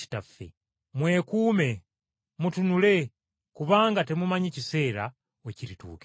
Mwekuume, mutunule kubanga temumanyi kiseera we kirituukira.